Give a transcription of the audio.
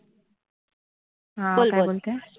हा काय बोलते बोल बोल